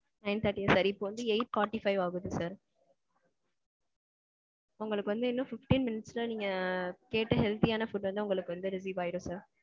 nine thirty சரி. இப்போ வந்து eight forty five ஆகுது sir. உங்களுக்கு வந்து இன்னும் fifteen minutes ல நீங்க கேட்ட healthy ஆனா food வந்து உங்களுக்கு வந்து receive ஆகிரும் sir.